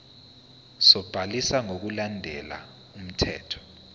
sobhaliso ngokulandela umthetho